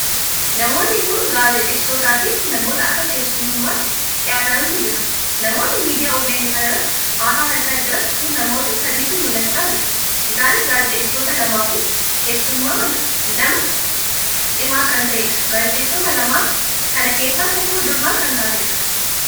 Namoonni kun gaazexeessitoota fi namoota akka keessummummaatti dhiyaatantu jira. namoonni miidiyaa OBN' kan irratti haasaa taasisaa jiran kun namoota sadiitu mul'achaa jira. isaanis gaazexeessitoota lamaaf keessummaa nama cimaa kan taheedha. Gaazexeessitoota lamaan kan keessaa tokko durba kan taateedha.